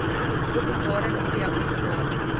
openbare media openbare